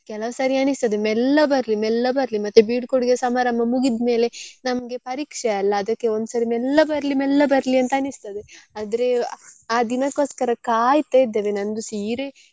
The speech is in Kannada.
ಕೆಲವ್ ಸರಿ ಅನಿಸ್ತದೆ ಮೆಲ್ಲ ಬರ್ಲಿ ಮೆಲ್ಲ ಬರ್ಲಿ ಮತ್ತೆ ಬೀಳ್ಕೊಡುಗೆ ಸಮಾರಂಭ ಮುಗಿದ್ಮೇಲೆ ನಮ್ಗೆ ಪರೀಕ್ಷೆ ಅಲ್ಲ ಅದಕ್ಕೆ ಒಂದ್ಸರಿ ಮೆಲ್ಲ ಬರ್ಲಿ ಮೆಲ್ಲ ಬರ್ಲಿ ಅಂತ ಅನಿಸ್ತದೆ ಆದ್ರೆ ಆ ದಿನಕೊಸ್ಕರ ಕಾಯ್ತಾ ಇದ್ದೇನೆ ನಂದು ಸೀರೆ.